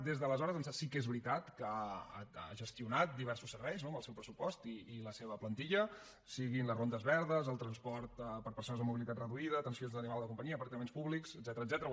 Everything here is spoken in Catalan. des d’aleshores ençà sí que és veritat que ha gestionat diversos serveis amb el seu pressupost i la seva plantilla siguin les rondes verdes el transport per a persones amb mobilitat reduïda atenció d’animals de companyia aparcaments públics etcètera